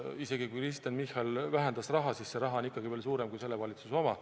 Isegi kui Kristen Michal vähendas raha, siis on see raha ikkagi veel suurem kui selle valitsuse oma.